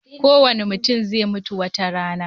Kowane mutum zai mutu wata rana.